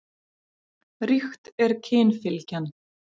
Ríkt er kynfylgjan.